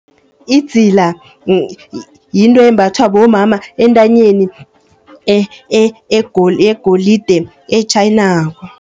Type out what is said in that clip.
Idzila yinto embathwa bomama entanyeni yegolide etjhayinako.